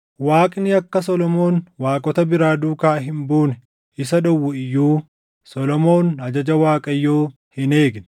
Waaqni akka Solomoon waaqota biraa duukaa hin buune isa dhowwu iyyuu, Solomoon ajaja Waaqayyoo hin eegne.